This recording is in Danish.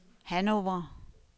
Hannover